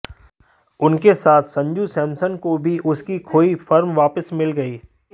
उनके साथ संजू सैमसन को भी उनकी खोई फॉर्म वापस मिल गई